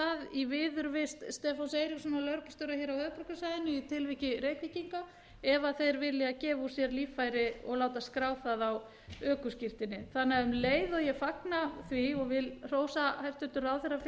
í viðurvist stefáns eiríkssonar lögreglustjóra hér á höfuðborgarsvæðinu í tilviki reykvíkinga ef þeir vilja gefa úr sér líffæri og láta skrá það á ökuskírteini um leið og ég fagna því og vil hrósa hæstvirtur ráðherra fyrir